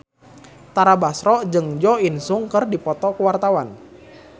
Tara Basro jeung Jo In Sung keur dipoto ku wartawan